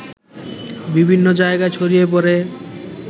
বিভিন্ন জায়গায় ছড়িয়ে পড়ে